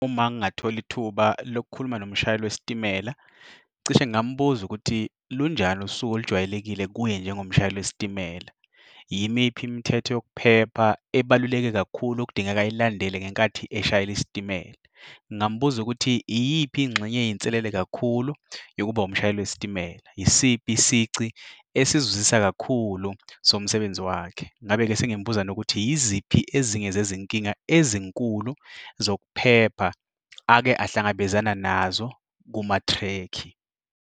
Uma ngingathola ithuba lokukhuluma nomshayeli lwesitimela, cishe ngingambuza ukuthi lunjani usuku olujwayelekile kuye njengomshayeli wesitimela. Yimiphi imithetho yokuphepha ebaluleke kakhulu okudingeka ayilandele ngenkathi eshayela isitimela? Ngingambuza ukuthi iyiphi ingxenye eyinselele kakhulu yokuba umshayeli wesitimela. Yisiphi isici esizwisa kakhulu somsebenzi wakhe. Ngingabe-ke sengimbuza ukuthi yiziphi ezinye zezinkinga ezinkulu zokuphepha ake ahlangabezana nazo kumatrekhi.